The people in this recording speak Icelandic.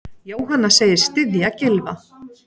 Jóhanna segist styðja Gylfa.